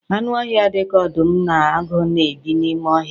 Anụ ọhịa dịka ọdụm na agụ na-ebi n'ime ọhịa